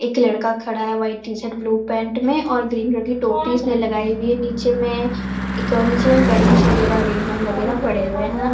एक लड़का खड़ा है व्हाइट टी-शर्ट ब्लू पैंट में और ग्रीन कलर की टोपी उसने लगाई हुई है नीचे में एक नीचे में बैलून्स वगैरह रिबन वगैरह पड़े हुए हैं।